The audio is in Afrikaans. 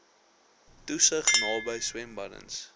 toesig naby swembaddens